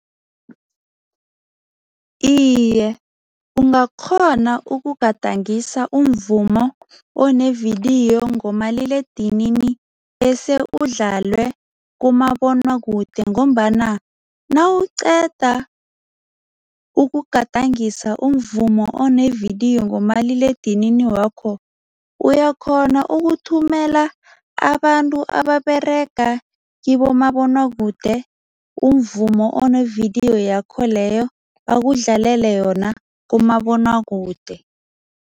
Iye, ungakghona ukugadangisa umvumo onevidiyo ngomaliledinini bese udlalwe kumabonwakude ngombana nawuqeda ukugadangisa umvumo onevidiyo ngomaliledinini wakho, uyakghona ukuthumela abantu ababerega kibomabonwakude umvumo onevidiyo yakho leyo, bakudlalele yona kumabonwakude.